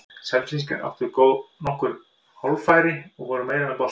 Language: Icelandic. Selfyssingar áttu þá nokkur hálffæri og voru meira með boltann.